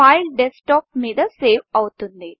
file desktop మీద సేవ్ అవుతుంది